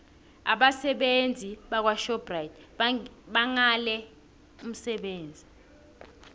abasebenzi bakwashoprite bangale umsebenzi